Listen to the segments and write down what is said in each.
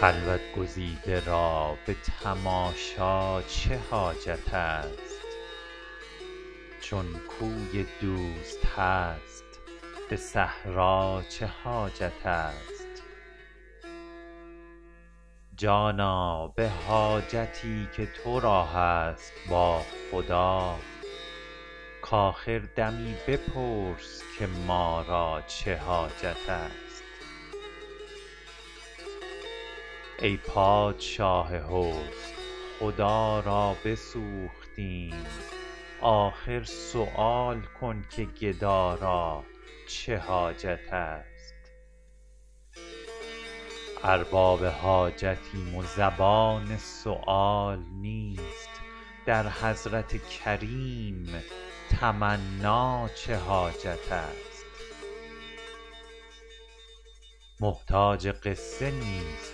خلوت گزیده را به تماشا چه حاجت است چون کوی دوست هست به صحرا چه حاجت است جانا به حاجتی که تو را هست با خدا کآخر دمی بپرس که ما را چه حاجت است ای پادشاه حسن خدا را بسوختیم آخر سؤال کن که گدا را چه حاجت است ارباب حاجتیم و زبان سؤال نیست در حضرت کریم تمنا چه حاجت است محتاج قصه نیست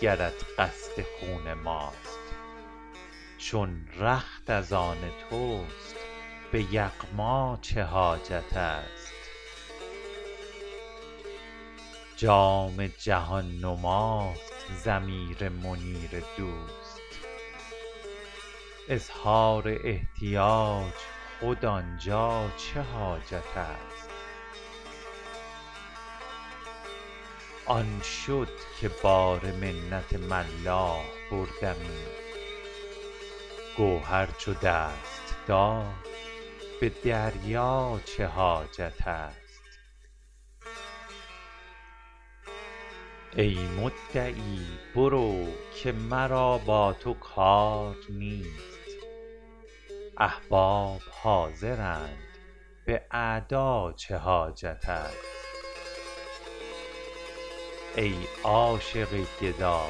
گرت قصد خون ماست چون رخت از آن توست به یغما چه حاجت است جام جهان نماست ضمیر منیر دوست اظهار احتیاج خود آن جا چه حاجت است آن شد که بار منت ملاح بردمی گوهر چو دست داد به دریا چه حاجت است ای مدعی برو که مرا با تو کار نیست احباب حاضرند به اعدا چه حاجت است ای عاشق گدا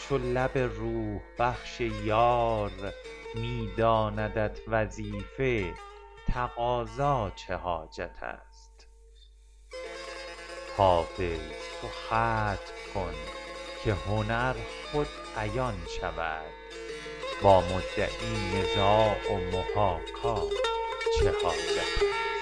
چو لب روح بخش یار می داندت وظیفه تقاضا چه حاجت است حافظ تو ختم کن که هنر خود عیان شود با مدعی نزاع و محاکا چه حاجت است